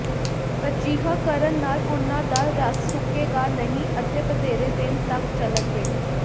ਅਜਿਹਾ ਕਰਨ ਨਾਲ ਉਨ੍ਹਾਂ ਦਾ ਰਸ ਸੁੱਕੇਗਾ ਨਹੀਂ ਅਤੇ ਵਧੇਰੇ ਦਿਨ ਤਕ ਚਲਣਗੇ